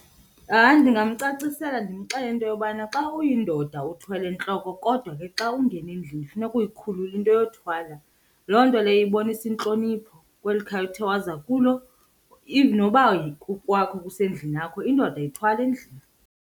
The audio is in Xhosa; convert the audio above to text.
Hayi, ndingamcacisela ndimxelele into yobana xa uyindoda uthwele entloko kodwa ke xa ungena endlini funeka uyikhulule into yokuthwala. Loo nto leyo ibonisa intlonipho kweli khaya uthe waza kulo, even noba kukwakho kusendlini yakho, indoda ayithwali endlini.